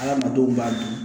Adamadenw b'a dun